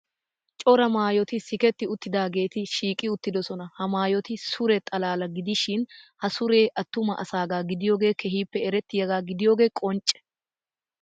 Cora maayoti siketti uttidaageeti shiiqi uttidosona. Ha maayoti sure xalaala gidishin ha suree attuma asaagaa gidiyogee keehippe erettiyagaa gidiyogee qoncce.